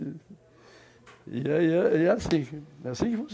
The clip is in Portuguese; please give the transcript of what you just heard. E é é assim